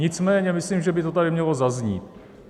Nicméně myslím, že by to tady mělo zaznít.